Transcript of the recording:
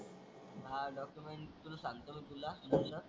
हा डॉक्युमेंट तुला सांगतो तुला तस.